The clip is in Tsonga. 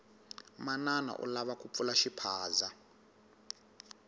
manana u lava ku pfula xiphaza